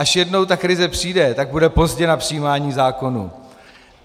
Až jednou ta krize přijde, tak bude pozdě na přijímání zákonů.